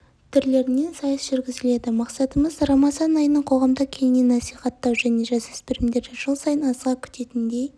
түрлерінен сайыс жүргізіледі мақсатымыз рамазан айтының қоғамда кеңінен насихаттау және жасөспірімдерді жыл сайын асыға күтетіндей